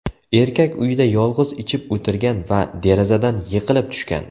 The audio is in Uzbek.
Erkak uyida yolg‘iz ichib o‘tirgan va derazadan yiqilib tushgan.